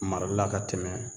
Marali la ka tɛmɛ